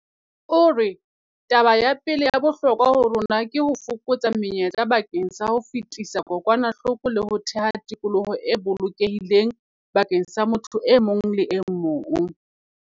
O re- Taba ya pele ya bohlokwa ho rona ke ho fokotsa menyetla bakeng sa ho fetisa kokwanahloko le ho theha tikoloho e bolokehileng bakeng sa motho e mong le e mong.